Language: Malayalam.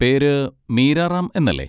പേര് മീര റാം എന്നല്ലേ?